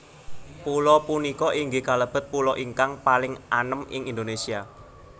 Pulo punika inggih kalebet pulo ingkang paling anem ing Indonésia